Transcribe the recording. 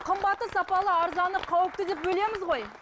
қымбаты сапалы арзаны қауіпті деп бөлеміз ғой